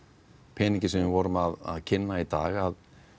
peningi sem við vorum að kynna í dag